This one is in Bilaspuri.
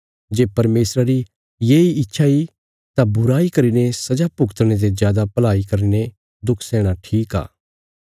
जे परमेशरा री येई इच्छा इ तां बुराई करीने सजा भुगतणे ते जादा भलाई करीने दुख सैहणा ठीक आ